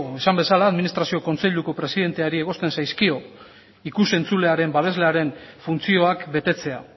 esan bezala administrazio kontseiluko presidenteari egozten zaizkio ikus entzulearen babeslearen funtzioak betetzea